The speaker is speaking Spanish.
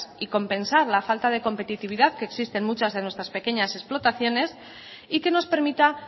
y compensar la falta de competitividad que existen en muchas de nuestras pequeñas explotaciones y que nos permita